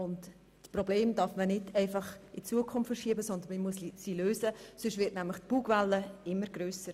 Dieses Problem dürfen wir nicht einfach in die Zukunft verschieben, sondern müssen es jetzt lösen, sonst wird die Bugwelle immer grösser.